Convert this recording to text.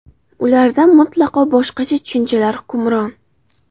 Ularda mutlaqo boshqa tushunchalar hukmron.